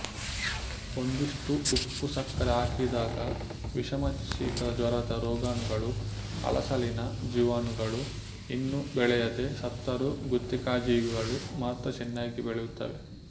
ಒಂದಿಷ್ಟು ಉಪ್ಪು ಸಕ್ಕರೆ ಹಾಕಿದಾಗ ವಿಷಮಶೀತಜ್ವರದ ರೋಗಾಣುಗಳು ಹಳಸಲಿನ ಜೀವಾಣುಗಳು ಇನ್ನು ಬೆಳೆಯದೆ ಸತ್ತರೂ ಗುತ್ತಿಕಾಯ್ಜೀವಿಗಳು ಮಾತ್ರ ಚೆನ್ನಾಗಿಯೇ ಬೆಳೆಯುತ್ತವೆ